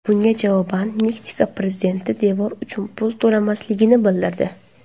Bunga javoban Meksika prezidenti devor uchun pul to‘lamasligini bildirdi .